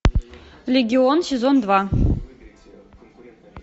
легион сезон два